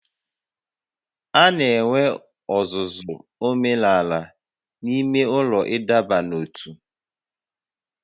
A na-enwe ọzụzụ omenala n'ime ụlọ ịdọba n'ótú